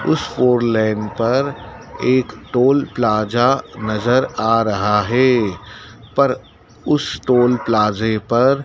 उस four lane पर एक टोल प्लाज़ा नज़र आ रहा हैं पर उस टोल प्लाज़े पर --